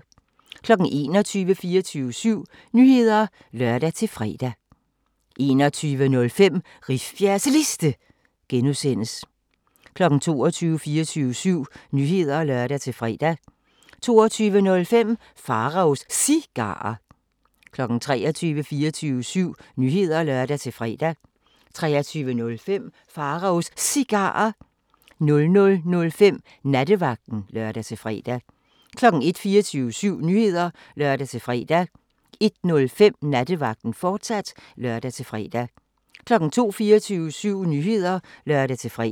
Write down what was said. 21:00: 24syv Nyheder (lør-fre) 21:05: Rifbjergs Liste (G) 22:00: 24syv Nyheder (lør-fre) 22:05: Pharaos Cigarer 23:00: 24syv Nyheder (lør-fre) 23:05: Pharaos Cigarer 00:05: Nattevagten (lør-fre) 01:00: 24syv Nyheder (lør-fre) 01:05: Nattevagten, fortsat (lør-fre) 02:00: 24syv Nyheder (lør-fre)